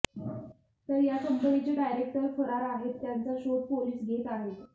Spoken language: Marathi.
तर या कंपनीचे डायरेक्टर फरार आहेत त्यांचा शोध पोलीस घेत आहेत